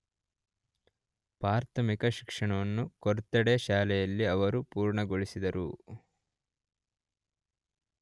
ಪ್ರಾಥಮಿಕ ಶಿಕ್ಷಣವನ್ನು ಕೊರ್ತೊಡೆ ಶಾಲೆಯಲ್ಲಿ ಅವರು ಪೂರ್ಣಗೊಳಿಸಿದರು.